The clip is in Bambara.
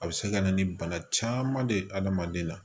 A bɛ se ka na ni bana caman de ye adamaden na